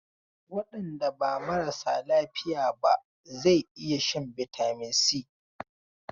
Waɗanda ba marasa lafiya ba zau iya shan bitamin Si.